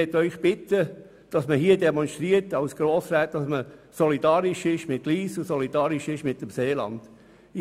Ich bitte Sie als Grossräte zu demonstrieren, dass Sie hier solidarisch mit der Linken und solidarisch mit dem Seeland sind.